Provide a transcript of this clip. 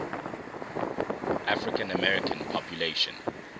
african american population